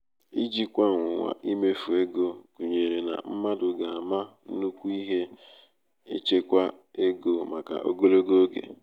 ijikwa ọnwụnwa imefu ego gunyere na mmadu ga ama nnukwu ihe echekwa ego maka ogologo oge